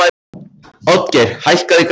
Oddgeir, hækkaðu í græjunum.